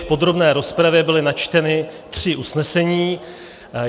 V podrobné rozpravě byla načtena tři usnesení.